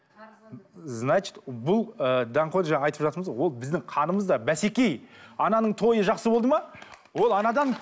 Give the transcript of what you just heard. значит бұл ыыы даңғой жаңа айтып жатырмыз ғой ол біздің қанымызда ананың тойы жақсы болды ма ол анадан